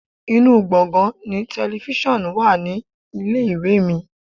Inú gbongan ni telifísàn wà ní ilé-ìwé mi.